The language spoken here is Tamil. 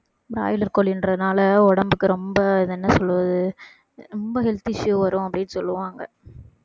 broiler கோழின்றதுனால உடம்புக்கு ரொம்ப இது என்ன சொல்றது ரொம்ப health issue வரும் அப்படின்னு சொல்லுவாங்க